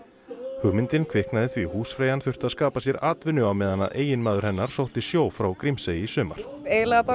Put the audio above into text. hugmyndin kviknaði því húsfreyjan þurfti að skapa sér atvinnu á meðan eiginmaður hennar sótti sjó frá Grímsey í sumar eiginlega bara